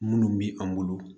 Munnu bi an bolo